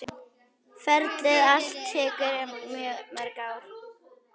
Ferlið allt tekur mörg ár.